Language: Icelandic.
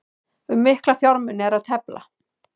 Um mikla fjármuni er að tefla